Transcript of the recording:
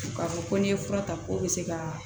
U k'a fɔ ko n'i ye fura ta k'o bɛ se ka